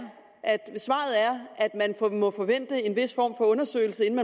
at man må forvente en vis form for undersøgelse inden